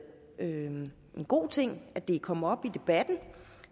en god ting at det er kommet op i debatten